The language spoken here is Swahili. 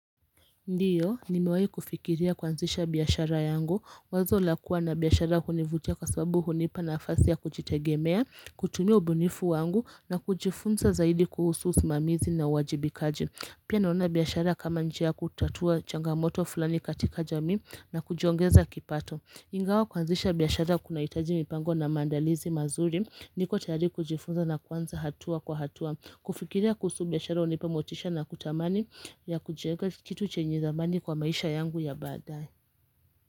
Ndiyo, nimewahi kufikiria kuanzisha biashara yangu, wazo la kuwa na biashara hunivutia kwa sababu hunipa nafasi ya kujitegemea, kutumia ubunifu wangu na kujifunza zaidi kuhusu usimamizi na uwajibikaji. Pia naona biashara kama njia ya kutatua changamoto fulani katika jamii na kujiongeza kipato. Ingawa kuanzisha biashara kunahitaji mipango na maandalizi mazuri niko tayari kujifunza na kuanza hatua kwa hatua. Kufikiria kuhusu biashara hunipa motisha na kutamani ya kujenga kitu chenye thamani kwa maisha yangu ya baadae.